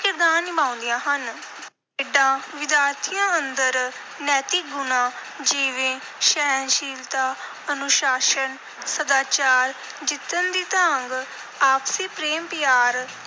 ਕਿਰਦਾਰ ਨਿਭਾਉਂਦੀਆਂ ਹਨ। ਖੇਡਾਂ ਵਿਦਿਆਰਥੀਆਂ ਅੰਦਰ ਨੈਤਿਕ ਗੁਣਾਂ, ਜਿਵੇਂ ਸਹਿਣਸ਼ੀਲਤਾ, ਅਨੁਸ਼ਾਸਨ, ਸਦਾਚਾਰ, ਜਿੱਤਣ ਦੀ ਤਾਂਘ, ਆਪਸੀ ਪ੍ਰੇਮ ਪਿਆਰ,